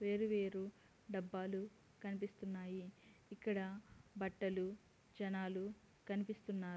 వేరు వేరు డబ్బాలు కనిపిస్తున్నాయి ఇక్కడ బట్టలు జనాలు కనిపిస్తున్నారు.